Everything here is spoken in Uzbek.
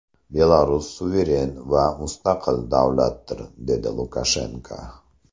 Belarus suveren va mustaqil davlatdir”, – dedi Lukashenko.